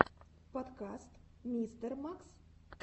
подкаст мистер макс